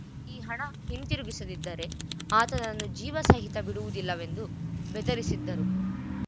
ಈ ಹಣ ಹಿಂತಿರುಗಿಸದ್ದಿದ್ದರೆ ಆತನನ್ನು ಜೀವ ಸಹಿತ ಬಿಡುವುದಿಲ್ಲವೆಂದು ಬೆದರಿಸಿದ್ದರು